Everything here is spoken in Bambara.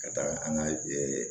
Ka taaga an ka